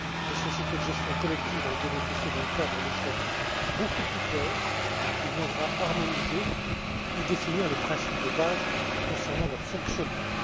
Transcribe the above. Les sociétés de gestion collective vont bénéficier d'un cadre législatif beaucoup plus clair, qui viendra harmoniser et définir les principes de base concernant leur fonctionnement.